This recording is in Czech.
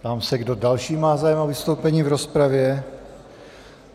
Ptám se, kdo další má zájem o vystoupení v rozpravě.